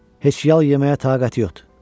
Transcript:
Heç yal yeməyə taqəti yoxdur.